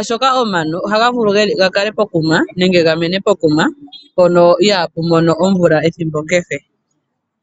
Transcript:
oshoka omano ohagavulu okukala nenge okumena pokuma mpoka iha pumono omvula ethimbo kehe.